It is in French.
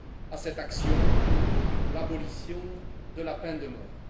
à cette action pour l'abolition de la peine de mort.